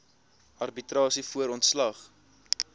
arbitrasie voor ontslag